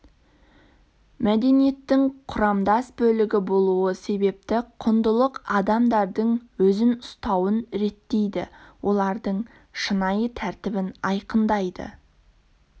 мәдениеттің құрамдас бөлігі болуы себепті құндылық адамдардың өзін ұстауын реттейді олардың шынайы тәртібін айқындайды